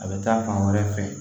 A bɛ taa fan wɛrɛ fɛ